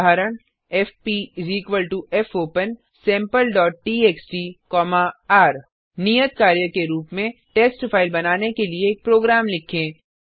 उदाहरण एफपी fopensampleटीएक्सटी र नियत कार्य के रूप में टेस्ट फाइल बनाने के लिए एक प्रोग्राम लिखें